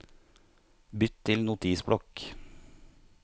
Bytt til Notisblokk